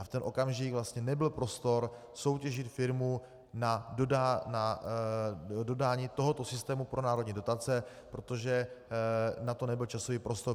A v ten okamžik vlastně nebyl prostor soutěžit firmu na dodání tohoto systému pro národní dotace, protože na to nebyl časový prostor.